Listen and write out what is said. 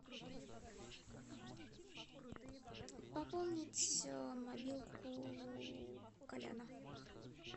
пополнить мобилку коляна